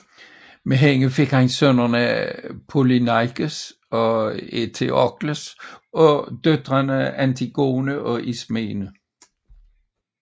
Med hende fik han sønnerne Polyneikes og Eteokles og døtrene Antigone og Ismene